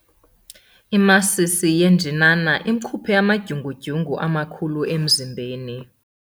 Imasisi yenjinana imkhuphe amadyungudyungu amakhulu emzimbeni.